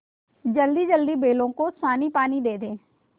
जल्दीजल्दी बैलों को सानीपानी दे दें